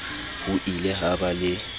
ho ile ha ba le